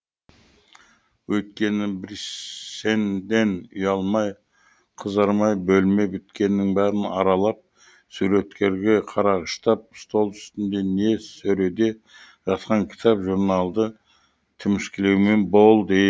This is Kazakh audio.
өйткені бриссенден ұялмай қызармай бөлме біткеннің бәрін аралап суреттерге қарағыштап стол үстінде не сөреде жатқан кітап журналдарды тіміскілеумен болды